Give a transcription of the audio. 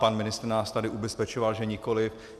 Pan ministr nás tady ubezpečoval, že nikoliv.